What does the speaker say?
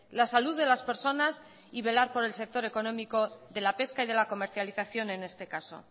la salud de las personas y velar por el sector económico de la pesca y de la comercialización en este caso